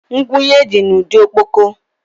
Ngwunye dị n'ụdị ọkpọkọ